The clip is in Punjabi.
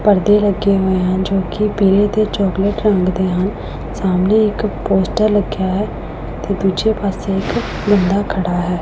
ਪਰਦੇ ਲੱਗੇ ਹੋਏ ਹਨ ਜੋ ਕਿ ਪੀਲੇ ਤੇ ਚੋਕਲੇਟ ਰੰਗ ਦੇ ਹਨ ਸਾਹਮਣੇ ਇੱਕ ਪੋਸਟਰ ਲੱਗਿਆ ਹੈ ਤੇ ਦੂਜੇ ਪਾਸੇ ਬੰਦਾ ਖੜਾ ਹੈ।